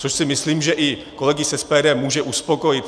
Což si myslím, že i kolegy z SPD může uspokojit.